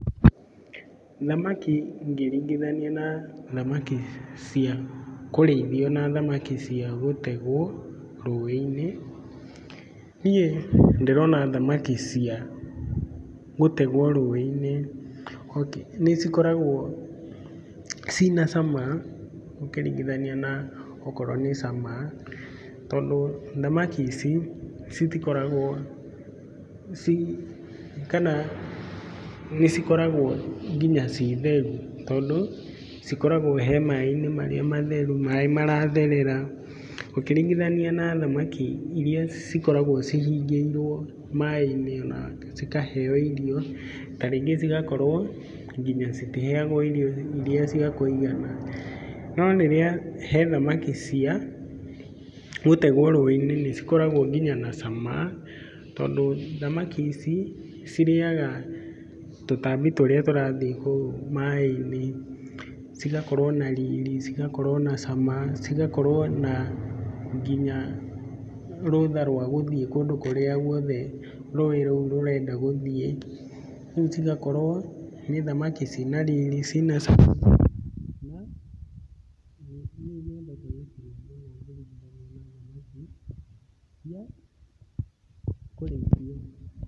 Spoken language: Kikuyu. Thamaki ngĩringithania na thamaki cia kũríĩthio na thamki cia gũtegwo rũĩ-inĩ, niĩ ndĩrona thamaki cia gũtegwo rũĩ-inĩ nĩ cikoragwo ciĩna cama ũkĩringithania na okorwo nĩ cama, tondũ thamaki ici citikoragwo kana nĩ cikoragwo nginya ciĩ theru tondũ cikoragwo ha maĩ-inĩ marĩa matheru, maĩ maratherera, ũkĩringithania na thamaki iria cikoragwo cihingĩrwo maĩ-inĩ na cikaheo irio, ta rĩngĩ cigakorwo nginya citiheagwo irio ta rĩngĩ cia kũigana no rĩrĩa, hena thamaki cia gũtegwo rũĩ-inĩ nĩ cikoragwo nginya na cama tondũ thamaki ici cirĩaga tũtambi tũrĩa tũrathiĩ kou maĩ-inĩ, cigakorwo na rĩri, cigakorwo na cama, cigakorwo na nginya rũtha rwa gũthiĩ kũrĩa guothe rũi rũu rũrenda gũthiĩ, rĩu cigakorwo nĩ thamaki ciĩna riri ciĩna cama na niĩ nĩcio nyendete mũno ũkĩringithania na thamaki cia kũrĩithio.